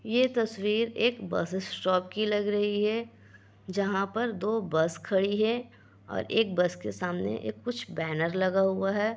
ये तस्वीर एक बस स्टॉप की लग रही है जहाँ पर दो बस खड़ी है और एक बस के सामने एक कुछ बैनर लगा हुआ है।